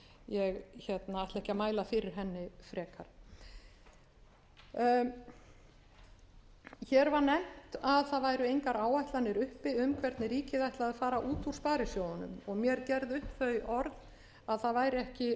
ég ætla ekki að mæla fyrir henni frekar hér var nefnt að það væru engar áætlanir uppi um hvernig ríkið ætlaði að fara út úr sparisjóðunum og mér gerð upp þau orð að það væri ekki verkefni þessarar